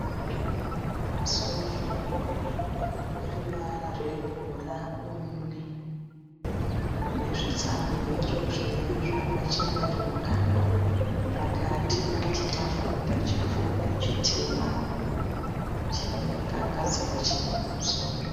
Masofa eruvara rwebhurauni nezvitsamiriro zvakachenuruka pakati pane chitafura chipfupi chitema chakagadzirwa chinhu pamusoro.